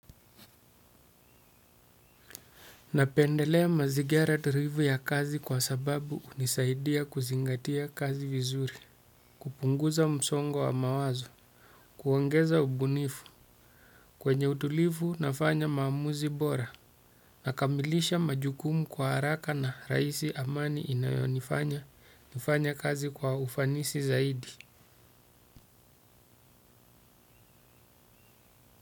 Napendelea mazigara turivu ya kazi kwa sababu hunisaidia kuzingatia kazi vizuri upunguza msongo wa mawazo. Kuongeza ubunifu kwenye utulifu nafanya maamuzi bora. Nakamilisha majukumu kwa haraka na raisi amani inayo nifanya nifanya kazi kwa ufanisi zaidi.